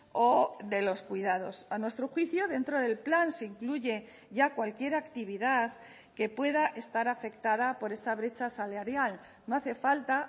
o de los cuidados a nuestro juicio dentro del plan se incluye ya cualquier actividad que pueda estar afectada por esa brecha salarial no hace falta